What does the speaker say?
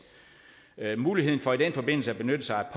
muligheden for i den forbindelse at benytte sig